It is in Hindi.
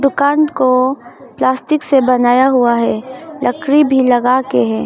दुकान को प्लास्टिक से बनाया हुआ हैं लकड़ी भी लगा के हैं।